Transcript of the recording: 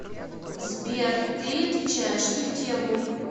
сбер ты отвечаешь не в тему